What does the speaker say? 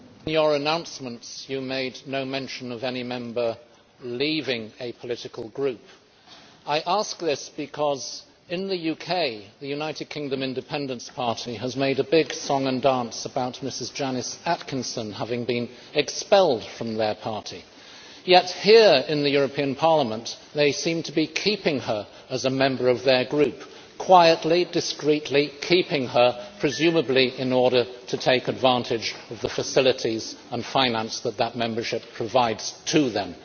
Mr President, in your announcements you made no mention of any Member leaving a political group. I ask this because, in the UK, the United Kingdom Independence Party has made a big song and dance about Ms Janice Atkinson having been expelled from their party, yet here in the European Parliament they seem to be keeping her as a member of their group, quietly, discreetly, keeping her presumably in order to take advantage of the facilities and finance that such membership provides to them.